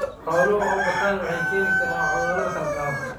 Xooluhu oo bataan waxay keeni karaan cuduro la kala qaado.